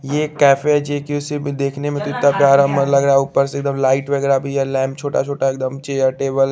ये cafe G Q C देख ने में कितना प्यारा मन लग रहा है ऊपर से लाइट वगेरा भी है लैंप छोटा छोटा एक दम चेयर टेबल --